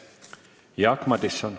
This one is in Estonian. Jaak Madison.